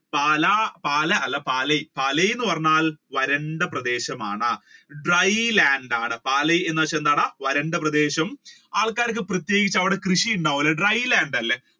പാലാ പാലാ അല്ല പാലായ് പാലായ് എന്ന് പറഞ്ഞാൽ വരണ്ട പ്രദേശമാണ് Dry land ആണ്. പാലായ് എന്ന് വെച്ചാൽ എന്താണ് വരണ്ട പ്രദേശം ആൾക്കാർക്ക് പ്രത്യേകിച്ച് അവിടെ കൃഷി ഉണ്ടാവൂല Dry land അല്ലെ